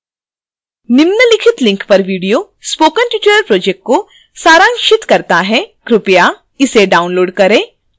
निम्नलिखित link पर video spoken tutorial project को सारांशित करता है